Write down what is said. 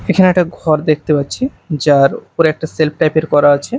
এখানে একটা ঘর দেখতে পাচ্ছি যার ওপরে একটা সেলফ টাইপ -এর করা আছে।